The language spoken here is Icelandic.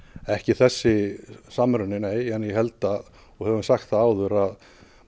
ekki þessi samruni nei en ég held og hef sagt það áður að